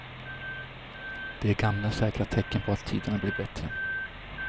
Det är gamla säkra tecken på att tiderna blir bättre.